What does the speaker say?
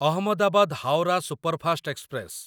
Ahmedabad Howrah superfast express